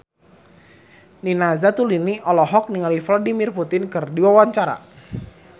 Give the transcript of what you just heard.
Nina Zatulini olohok ningali Vladimir Putin keur diwawancara